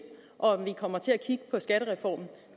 og at vi kommer til at kigge på skattereformen